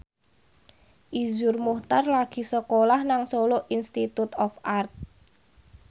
Iszur Muchtar lagi sekolah nang Solo Institute of Art